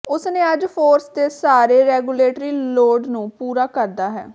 ਉਸ ਨੇ ਅੱਜ ਫੋਰਸ ਦੇ ਸਾਰੇ ਰੈਗੂਲੇਟਰੀ ਲੋੜ ਨੂੰ ਪੂਰਾ ਕਰਦਾ ਹੈ